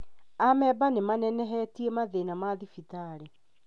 Amemba nĩ manenenehetie mathĩna ma thibitarĩ